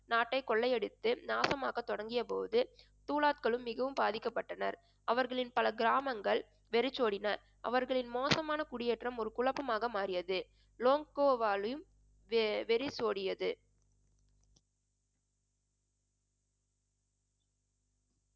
நாட்டை கொள்ளையடித்து நாசமாக்க தொடங்கிய போது துலாத்களும் மிகவும் பாதிக்கப்பட்டனர். அவர்களின் பல கிராமங்கள் வெறிச்சோடின அவர்களின் மோசமான குடியேற்றம் ஒரு குழப்பமாக மாறியது லோங்காவாலும் வெ~ வெறிச்சோடியது.